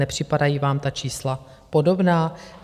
Nepřipadají vám ta čísla podobná?